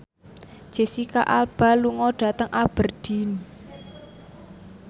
Jesicca Alba lunga dhateng Aberdeen